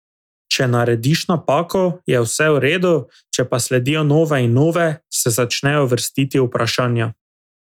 Če narediš napako, je vse v redu, če pa sledijo nove in nove, se začnejo vrstiti vprašanja.